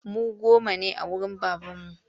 Mu goma ne a wurin babarmu